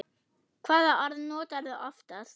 Hvaða orð notarðu oftast?